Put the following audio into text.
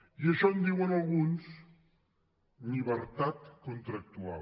i d’això en diuen al·guns llibertat contractual